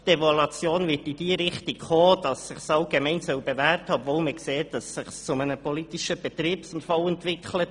Die Evaluation wird in die Richtung gehen, dass es sich allgemein bewährt haben soll, obwohl man sieht, dass es sich zu einem politischen Betriebsunfall entwickelt.